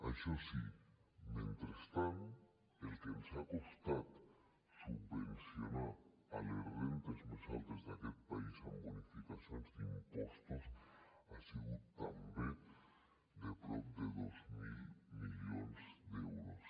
això sí mentrestant el que ens ha costat subvencionar les rendes més altes d’aquest país amb bonificacions d’impostos ha sigut també de prop de dos mil milions d’euros